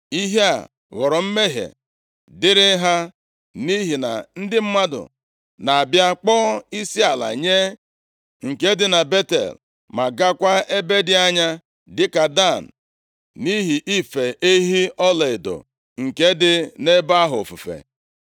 Ihe a ghọrọ mmehie dịrị ha, nʼihi na ndị mmadụ na-abịa kpọọ isiala nye nke dị na Betel ma gaakwa ebe dị anya, dịka Dan, nʼihi ife ehi ọlaedo nke dị nʼebe ahụ ofufe.